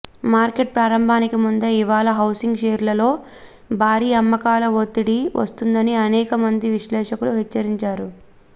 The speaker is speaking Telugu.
మార్కెట్ ప్రారంభానికి ముందే ఇవాళ హౌసింగ్ షేర్లలో భారీ అమ్మకాల ఒత్తిడి వస్తుందని అనేక మంది విశ్లేషకులు హెచ్చరించారు